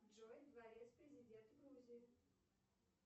джой дворец президента грузии